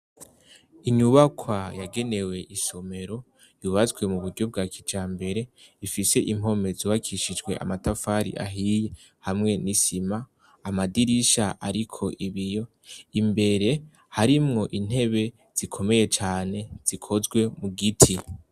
Inyubakwa yagenewe isomero, yubatswe mu buryo bwa kijambere. ifise impome zubakishijwe amatafari ahiye hamwe n'isima. Amadirisha ariko ibiyo. Imbere harimwo intebe zikomeye cane zikozwe mugiti.